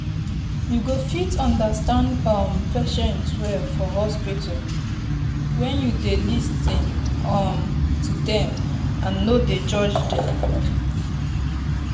you go fit understand um patient well for hospital when you dey lis ten um to dem and nor dey judge them.